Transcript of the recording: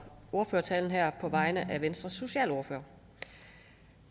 ordførertalen her på vegne af venstres socialordfører